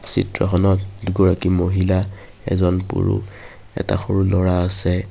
চিত্ৰখনত দুগৰাকী মহিলা এজন পুৰুষ এটা সৰু ল'ৰা আছে।